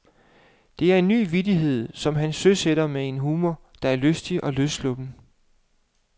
Det er en ny vittighed, som han søsætter med en humor, der er lystig og løssluppen.